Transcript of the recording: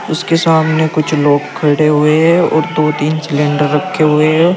उसके सामने कुछ लोग खड़े हुए हैं और दो तीन सिलेंडर रखे हुए हैं।